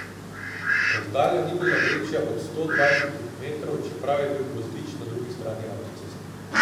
Razdalja ni bila večja od sto dvajsetih metrov, čeprav je bil gozdič na drugi strani avtoceste.